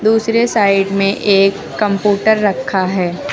दूसरे साइड में एक कम्पुटर रखा है।